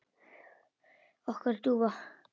Okkar dúfa?